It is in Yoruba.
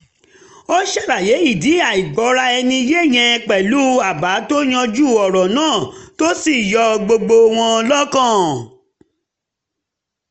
ó ṣàlàyé ìdí àìgbọ́ra-ẹni-yé yẹn pẹ̀lú àbá tó yanjú ọ̀rọ̀ náà tó sì yọ gbogbo wọn lọ́kàn